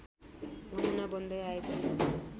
नमुना बन्दै आएको छ